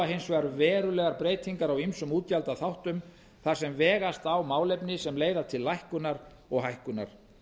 hins vegar verulegar breytingar á ýmsum útgjaldaþáttum þar sem vegast á málefni sem leiða til lækkunar og hækkunar